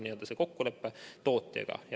Selline on kokkulepe tootjaga.